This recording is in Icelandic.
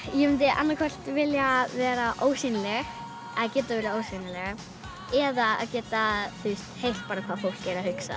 ég myndi annaðhvort vilja vera ósýnileg geta verið ósýnileg eða geta heyrt hvað fólk er að hugsa